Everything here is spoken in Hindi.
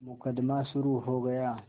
मुकदमा शुरु हो गया